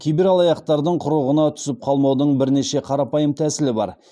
кибералаяқтардың құрығына түсіп қалмаудың бірнеше қарапайым тәсілі бар